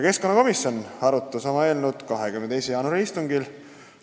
Keskkonnakomisjon arutas eelnõu oma 22. jaanuari istungil.